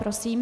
Prosím.